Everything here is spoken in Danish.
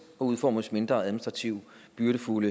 og udformes mindre administrativt byrdefuld